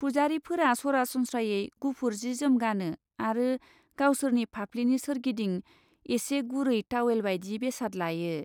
पुजारीफोरा सरासनस्रायै गुफुर जि जोम गानो आरो गावसोरनि फाफ्लिनि सोरगिदिं एसे गुरै तावेल बायदि बेसाद लायो।